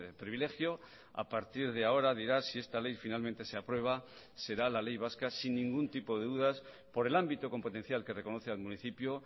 privilegio a partir de ahora dirá si esta ley finalmente se aprueba será la ley vasca sin ningún tipo de dudas por el ámbito competencial que reconoce al municipio